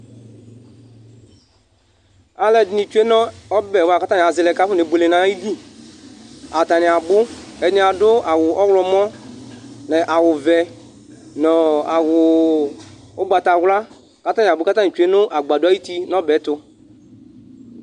Alʋɛdìní tsʋe nʋ ɔbɛ bʋakʋ atani azɛ kʋ afɔne bʋele nʋ ayìlí Atani abʋ Ɛdiní adu awu ɔwlɔmɔ nʋ awu vɛ nʋ awu ugbatawla kʋ atani abʋ kʋ atani tsʋe nʋ agbadɔ ayʋti nʋ ɔbɛ yɛ tu